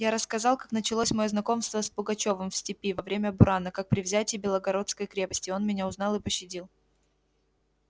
я рассказал как началось моё знакомство с пугачёвым в степи во время бурана как при взятии белогорской крепости он меня узнал и пощадил